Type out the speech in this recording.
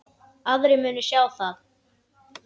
Aðrir munu sjá um það.